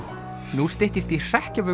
nú styttist í